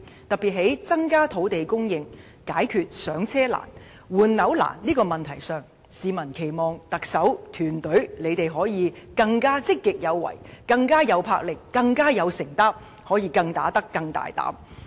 對於增加土地供應以解決"上車"難、換樓難的問題上，他們期望特首及其團隊可以更積極有為、更有魄力、更有承擔，可以更"打得"、更大膽。